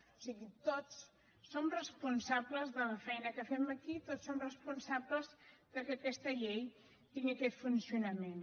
o sigui tots som responsables de la feina que fem aquí tots som responsables que aquesta llei tingui aquest funcionament